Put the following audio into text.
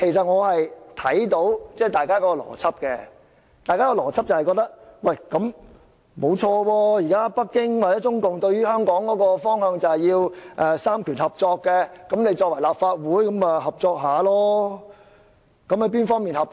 我明白大家的邏輯，認為既然北京或中共現時對於香港的方向就是要"三權合作"，立法會就要合作。